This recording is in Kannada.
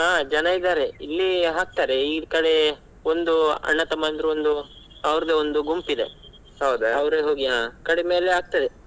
ಹಾ ಜನ ಇದಾರೆ ಇಲ್ಲಿ ಹಾಕ್ತಾರೆ ಈ ಕಡೆ ಒಂದು ಅಣ್ಣ ತಮ್ಮಂದರೂ ಒಂದು ಅವರದೇ ಒಂದು ಗುಂಪಿದೆ ಹಾ ಕಡಿಮೇಲೆ ಆಗ್ತದೆ.